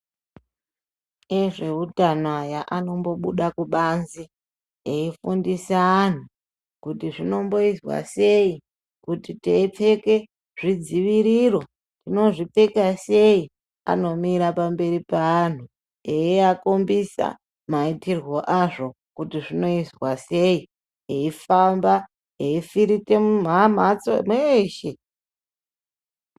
Ezveutano aya anombobude kubanzi eifundise anhu kuti zvinomboizwa sei kuti teipfeke zvidziviriro tinozvipeta sei anomira pamaberi peanhu eiakombedza maitirwo azvo kuti zvinoizwa sei, eifamba eifirite mumhatso mweshe.